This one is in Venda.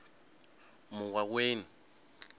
muwaweni